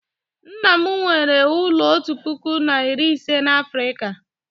nna m nwere ụlọ otu puku na iri ise na Afrịka